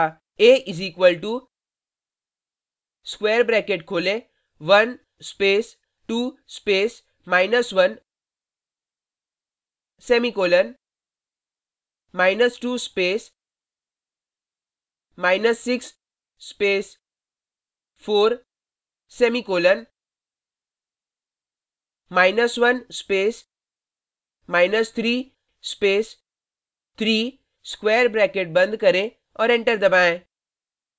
a = square bracket खोलें 1 space 2 space minus 1 semicolon 2 space 6 space 4 semicolon 1 space 3 space 3 square bracket बंद करें और enter दबाएँ